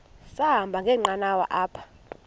sahamba ngenqanawa apha